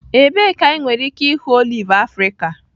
Ebee ka anyị nwere ike ịhụ oliv Afrika?